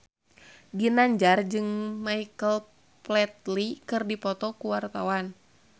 Ginanjar jeung Michael Flatley keur dipoto ku wartawan